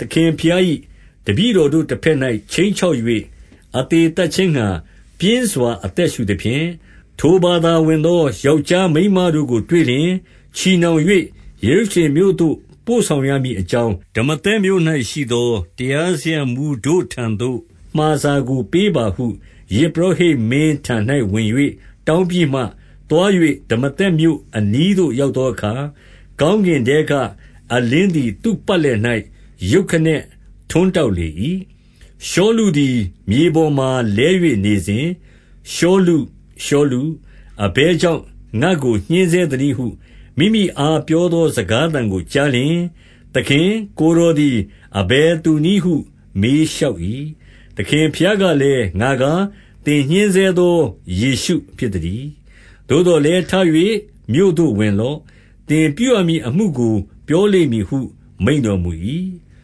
သခင်ဘုရား၏ တပည့်တော် တို့တဘက်၌ ခြိမ်းချောက်၍၊ အသေသတ်ခြင်းငှါ ပြင်းစွာအသက်ရှုသဖြင့်၊ 2 ထိုဘာသာဝင်သော ယောက်ျားမိန်းမ တို့ကို တွေ့လျှင်၊ ချည်နှောင်၍ ယေရုရှလင်မြို့သို့ ပို့ဆောင် ရမည်အကြောင်း၊ ဒမာသတ်မြို့၌ ရှိသော တရားစရပ်မှူး တို့ထံသို့ မှာစာကိုပေးပါဟု ယဇ်ပုရောဟိတ် မင်းထံ၌ ဝင်၍ တောင်းပြီးမှ၊ 3 သွား၍ ဒမာသက်မြို့အနီးသို့ရောက်သောအခါ၊ ကောင်းကင်ထဲက အလင်းသည် သူ့ပတ်လည်၍ ရုတ်ခနဲ ထွန်းတောက်လေ၏။ 4 ရှောလုသည် မြေပေါ်မှာလဲ၍နေစဉ်၊ ရှောလု၊ ရှောလု၊ အဘယ်ကြောင့် ငါ့ကိုညှဉ်းဆဲသနည်းဟု မိမိအား ပြောသောစကားသံကို ကြားလျှင်၊ 5 သခင်၊ ကိုယ်တော်သည် အဘယ်သူနည်းဟု မေးလျှောက်၏။ သခင်ဘုရားကလည်း၊ ငါကား သင် ညှဉ်းဆဲသော ယေရှုဖြစ်သတည်း။ 6 သို့သော်လည်းထ၍ မြို့သို့ဝင်လော့။ သင်ပြု ရမည်အမှုကို ပြောလိမ့်မည်ဟုမိန့်တော်မူ၏။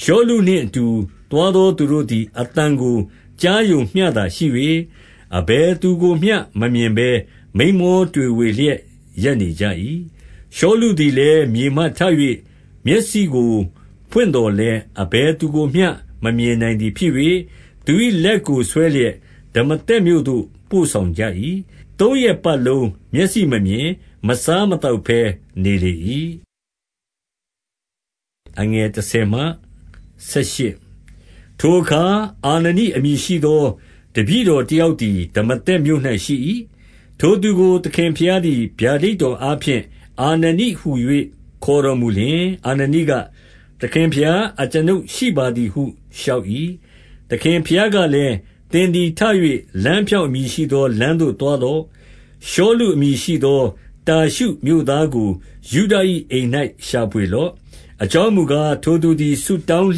7 ရှောလုနှင့်အတူ သွားသောသူတို့သည် အသံကိုကြားရုံမျှသာ ရှိ၍၊ အဘယ်သူကိုမျှမမြင်ဘဲ မိန်းမောတွေဝေလျက်ရပ်နေကြ၏။ 8 ရှောလုသည်လည်းမြေမှထ၍ မျက်စိကို ဖွင့်သော်လည်း အဘယ်သူကိုမျှမမြင်နိုင်သည်ဖြစ်၍၊ သူ၏လက်ကိုဆွဲလျက် ဒမာသက် မြို့သို့ပို့ဆောင်ကြ၏။ 9 သုံးရက်ပတ်လုံး မျက်စိမမြင်၊ မစားမသောက် ဘဲနေလေ၏။ 10 ထိုအခါ အာနနိအမည်ရှိသော တပည့်တော် တယောက်သည် ဒမာသက်မြို့၌ရှိ၏။ ထိုသူကို သခင် ဘုရားသည် ဗျာဒိတ်တော်အားဖြင့်၊ အာနနိဟူ၍ ခေါ်တော်မူလျှင်၊ အာနနိက၊ သခင်ဘုရား အကျွန်ုပ်ရှိပါ သည်ဟုလျှောက်၏။ 11 သခင်ဘုရားကလည်း၊ သင်သည်ထ၍ လမ်း ဖြောင့်အမည်ရှိသော လမ်းသို့သွားလော့။ ရှောလု အမည် ရှိသောတာရှုမြို့သားကို ယုဒ၏ အိမ်၌ရှာဖွေလော့။ အကြောင်းမူကား၊ ထိုသူသည် ဆုတောင်း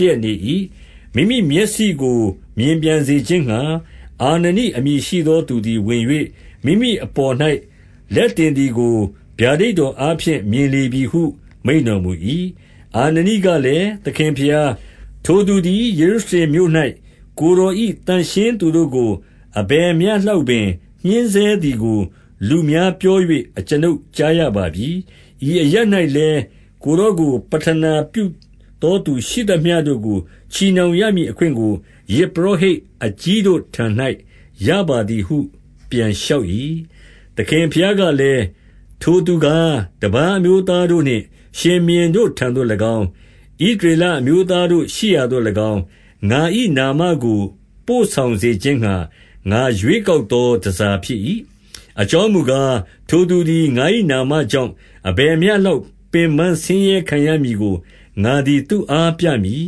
လျက်နေ၏။ 12 မိမိမျက်စိကို မြင်ပြန်စေခြင်းငှါ အာနနိအမည်ရှိ သော သူသည် ဝင်၍၊ မိမိအပေါ်၌ လက်တင်သည်ကို ဗျာဒိတ်တော်အားဖြင့် မြင်လေပြီ ဟုမိန့်တော်မူ၏။ 13 အာနနိကလည်း၊ သခင်ဘုရား၊ ထိုသူသည် ယေရုရှလင်မြို့၌ ကိုယ်တော်၏ သန့်ရှင်းသူတို့ကို အလယ်မျှလောက်ပင် ညှဉ်းဆဲသည်ကို လူများပြော၍ အကျွန်ုပ်ကြားရပါပြီ။ 14 ဤအရပ်၌လည်းကိုယ်တော်ကို ပဌနာပြုသော သူရှိသမျှတို့ကို ချည်နှောင်ရမည်အခွင့်ကို ယဇ်ပုရောဟိတ် အကြီးတို့ထံ၌ ရပါသည်ဟု ပြန်လျှောက်၏။ 15 သခင်ဘုရားကလည်း၊ ထိုသူကားတပါး အမျိုး သားတို့နှင့် ရှင်ဘုရင်တို့ထံသို့၎င်း၊ ဣသရေလ အမျိုးသား တို့ရှိရာသို့၎င်း၊ ငါ၏နာမကို ပို့ဆောင်စေခြင်းငှါ ငါရွေး ကောက်သော တန်ဆာဖြစ်၏။ 16 အကြောင်းမူကား၊ ထိုသူသည်ငါ၏နာမကြောင့် အဘယ်မျှ လောက်ပင် ဆင်းရဲခံရမည်ကို ငါသည် သူ့အားပြမည်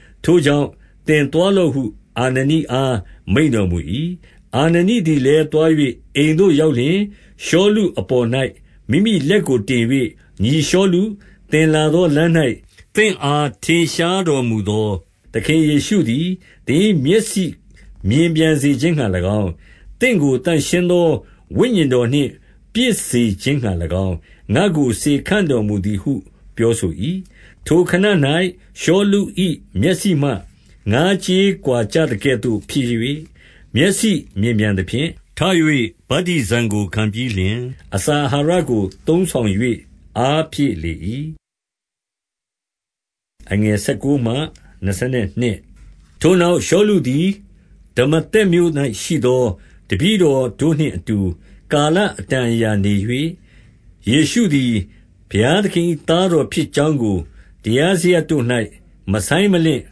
။ ထိုကြောင့် သင်သွားလော့ဟု အာနနိအား မိန့်တော်မူ၏။ 17 အာနနိသည်လည်းသွား၍ အိမ်သို့ရောက်လျှင်၊ ရှောလု အပေါ်၌ မိမိလက်ကိုတင်၍၊ ညီရှောလု၊ သင်လာသောလမ်း၌ သင့်အား ထင်ရှားတော်မူသော သခင်ယေရှုသည် သင်၏မျက်စိမြင်ပြန်စေခြင်းငှါ ၎င်း၊ သင့်ကိုသန့်ရှင်းသော ဝိညာဉ်တော်နှင့် ပြည့်စေခြင်းငှါ၎င်း ငါကို စေခန့်တော်မူသည်ဟုပြောဆို၏။ 18 ထိုခဏ၌ ရှောလု၏ မျက်စိမှ ငါးကြေးကွာ ကျသကဲ့သို့ဖြစ်၍၊ မျက်စိမြင်ပြန်သဖြင့်ထ၍ ဗတ္တိဇံ ကိုခံပြီးလျှင်၊ အစာအာဟာရကို သုံးဆောင်၍ အားဖြည့် လေ၏။ 19 ထိုနောက်ရှောလုသည် ဒမာသက်မြို့၌ရှိသော တပည့်တော်တို့ နှင့်အတူ ကာလအတန်အရာနေ၍၊ 20 ယေရှုသည် ဘုရားသခင်၏ သားတော်ဖြစ် ကြောင်းကို တရားစရပ်တို့၌ မဆိုင်းမလင့်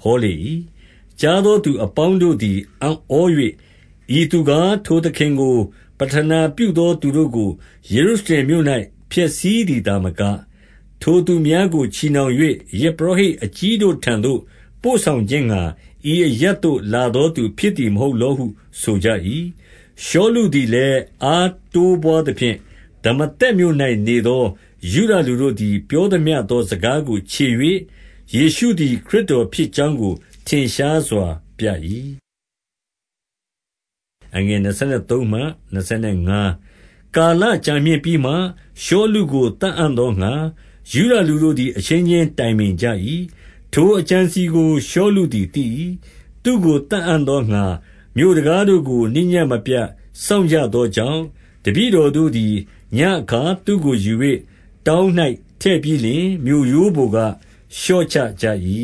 ဟောလေ၏။ 21 ကြားသောသူအပေါင်းတို့သည် အံ့ဩ၍၊ ဤ သူကား၊ ထိုသခင်ကို ပဌနာပြုသောသူတို့ကို ယေရုရှလင် မြို့၌ ဖျက်ဆီးသည် သာမက၊ ထိုသူများကိုချည်နှောင်၍ ယဇ်ပုရောဟိတ်အကြီးတို့ထံသို့ ပို့ဆောင်ခြင်းငှါ ဤအရပ် သို့ လာသောသူဖြစ်သည် မဟုတ်လောဟု ဆိုကြ၏။ 22 ရှောလုသည်လည်း အားတိုးပွားသဖြင့် ဒမာသက်မြို့၌နေသော ယုဒလူတို့သည် ပြောသမျှသော စကားကိုချေ၍၊ ယေရှုသည် ခရစ်တော် ဖြစ်ကြောင်းကို ထင်ရှားစွာပြ၏။ 23 ကာလကြာမြင့်ပြီးမှ၊ ရှောလုကိုသတ်အံ့သောငှါ၊ ယုဒလူတို့ သည်အချင်းချင်းတိုင်ပင်ကြ၏။ 24 ထိုအကြံအစည်ကို ရှောလုသည်သိ၏။ သူ့ကို သတ်အံ့သောငှါ မြို့တံခါးတို့ကို နေ့ညဉ့်မပြတ် စောင့်ကြ သောကြောင့်၊ 25 တပည့်တော်တို့သည် ညဉ့်အခါသူ့ကိုယူ၍ တောင်း၌ ထည့်ပြီးလျှင် မြို့ရိုးပေါ်က လျှော့ချကြ၏။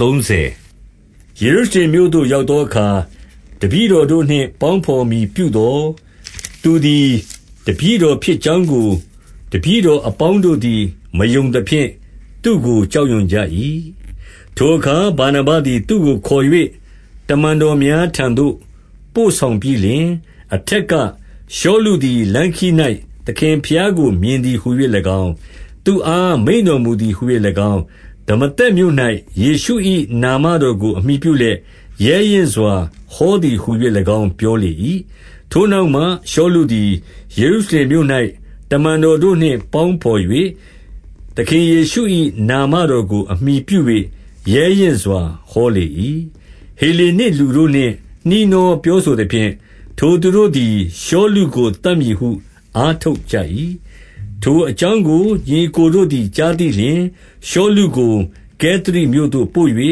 26 ယေရုရှင်လင်မြို့သို့ရောက်သောအခါ၊ တပည့် တော်တို့နှင့် ပေါင်းဘော်မည်ပြုသော်၊ သူသည် တပည့်တော်ဖြစ်ကြောင်းကို တပည့်တော် အပေါင်းတို့ သည် မယုံသဖြင့် သူ့ကိုကြောက်ရွံ့ကြ၏။ 27 ထိုအခါဗာနဗသည် သူ့ကိုခေါ်၍ တမန်တော် များထံသို့ ပို့ဆောင်ပြီးလျှင်၊ အထက်ကရှောလုသည် လမ်းခရီး၌ သခင်ဘုရားကို မြင်သည်ဟူ၍၎င်း၊ သူ့အားမိန့်တော်မူသည်ဟ၍၎င်း၊ ဒမာသက်မြို့၌ ယေရှု၏နာမတော်ကိုအမှီပြုလျက်၊ ရဲရင့်စွာဟောသည်ဟူ၍၎င်းပြောလေ၏။ 28 ထိုနောက်မှ ရှောလုသည် ယေရုရှလင်မြို့၌ တမန်တော်တို့နှင့် ပေါင်းဘော်၍၊ သခင်ယေရှု၏ နာမတော်ကိုအမှီပြု၍ ရဲရင့်စွာ ဟောလျက် နေ၏။ 29 ဟေလေနစ်လူတို့နှင့် နှီးနှောပြောဆိုသဖြင့်၊ ထိုသူတို့သည် ရှောလုကိုသတ်မည်ဟု အားထုတ်ကြ၏။ 30 ထိုအကြောင်းကို ညီအစ်ကိုတို့သည် ကြားသိ လျှင်၊ ရှောလုကို ကဲသရိမြို့သို့ပို့၍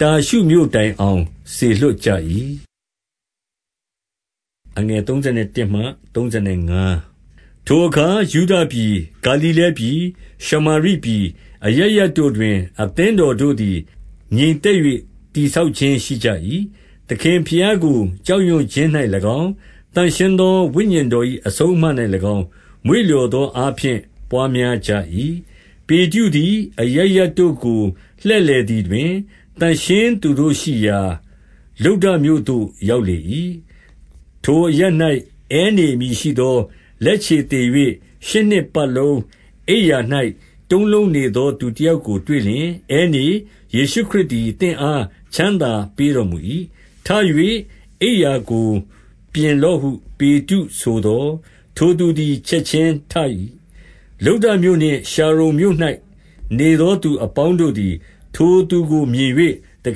တာရှုမြို့ တိုင်အောင် စေလွှတ်ကြ၏။ 31 ထိုအခါယုဒပြည်၊ ဂါလိလဲပြည်၊ ရှမာရိပြည် အရပ်ရပ်တို့တွင် အသင်းတော်တို့သည် ငြိမ်သက်၍ တည်ဆောက်ခြင်းရှိကြ၏။ သခင်ဘုရားကို ကြောက်ရွံ့ ခြင်း၌၎င်း၊ သန့်ရှင်းသောဝိညာဉ်တော်၏ အဆုံးအမ၌ ၎င်း၊ မွေ့လျော်သောအားဖြင့် ပွားများကြ၏။ 32 ပေတရုသည် အရပ်ရပ်တို့ကို လှည့်လည်သည် တွင် သန့်ရှင်းသူ တို့ရှိရာ လုဒ္ဒမြို့သို့ရောက်လေ၏။ 33 ထိုအရပ်၌ အဲနေအမည်ရှိသော တုံးလုံးနေ သော သူတယောက်ကိုတွေ့လျှင်၊ အဲနေ၊ ယေရှုခရစ်သည် သင့်အားချမ်းသာပေးတော်မူ၏။ 34 ထ၍အိပ်ရာကိုပြင်လော့ဟု ပေတရုဆိုသော်၊ ထိုသူသည် ချက်ခြင်းထ၏။ 35 လုဒ္ဒမြို့နှင့်ရှာရုန်မြို့၌ နေသောသူ အပေါင်း တို့သည် ထိုသူကို မြင်၍ သ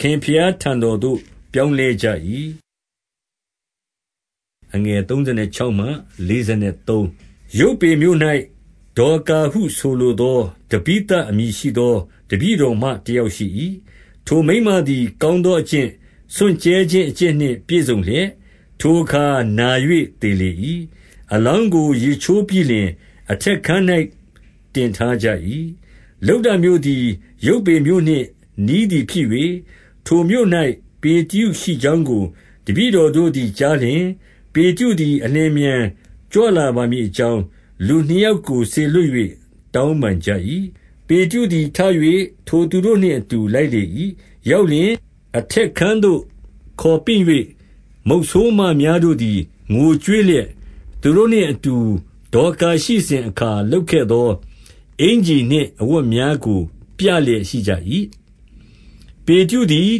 ခင်ဘုရားထံတော်သို့ ပြောင်းလဲကြ၏။ 36 ယုပွေမြို့၌ ဒေါ်ကာဟုဆိုလိုသော တဗိသ အမည်ရှိသော တပည့်တော်မ တယောက်ရှိ၏။ ထိုမိန်းမ သည် ကောင်းသောအကျင့်၊ စွန့်ကြဲခြင်း အကျင့်နှင့် ပြည့်စုံလျက်၊ 37 ထိုအခါ၌နာ၍သေလေ၏။ အလောင်းကို ရေချိုးပြီးလျှင် အထက်ခန်း၌တင်ထားကြ၏။ 38 လုဒ္ဒမြို့သည် ယုပွေမြို့နှင့် နီးသည်ဖြစ်၍ ထိုမြို့၌ ပေတရု ရှိကြောင်းကို တပည့်တော်တို့သည်ကြားလျှင်၊ ပေတရုသည် အလျင်အမြန် ကြွလာပါမည် အကြောင်း လူနှစ်ယောက်ကို စေလွှတ်၍ တောင်းပန် ကြ၏။ 39 ပေတရုသည် ထ၍ထိုသူတို့နှင့် အတူလိုက်လေ ၏။ ရောက်လျှင် အထက်ခန်းသို့ခေါ်ပင့်၍ မုတ်ဆိုးမ များတို့သည် ငိုကြွေးလျက်၊ သူတို့နှင့်အတူ ဒေါ်ကာရှိ စဉ်အခါလုပ်ခဲ့သော အင်္ကျီနှင့် အဝတ်များကို ပြလျက် ရှိကြ၏။ 40 ပေတရုသည်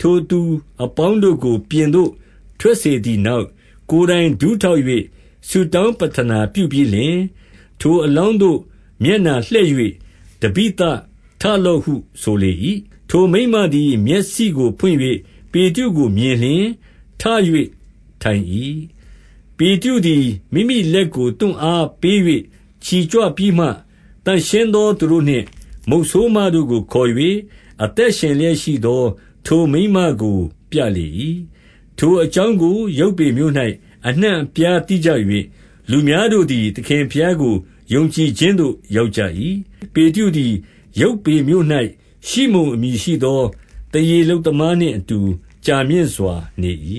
ထိုသူအပေါင်းတို့ကို ပြင်သို့ထွက် စေသည်နောက်၊ ကိုယ်တိုင်ဒူးထောက်၍ ဆုတောင်း ပဌနာပြုပြီးလျှင်၊ ထိုအလောင်းသို့ မျက်နှာလှည့်၍၊ တဗိသ၊ ထလော့ဟုဆိုလေ၏။ ထိုမိန်းမ သည် မျက်စိကို ဖွင့်၍ ပေတရုကိုမြင်လျှင် ထ၍ထိုင်၏။ 41 ပေတရုသည် မိမိလက်ကို သူ့အားပေး၍ ချီကြွပြီးမှ၊ သန့်ရှင်း သူတို့နှင့် မုတ်ဆိုးမတို့ကိုခေါ်၍ အသက်ရှင်လျက်ရှိသော ထိုမိန်းမကို ပြလေ၏။ 42 ထိုအကြောင်းကို ယုပွေမြို့၌ အနှံ့အပြား သိကြ ၍၊ လူများတို့သည် သခင်ဘုရားကိုယုံကြည်ခြင်းသို့ ရောက်ကြ၏။ 43 ပေတရုသည် ယုပွေမြို့၌ရှိမုန်အမည်ရှိသော သားရေ လုပ်သမားနှင့်အတူ ကြာမြင့်စွာနေ၏